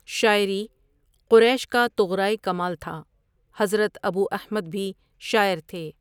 شاعری قریش کا طغرائے کمال تھا، حضرت ابواحمدؓ بھی شاعر تھے۔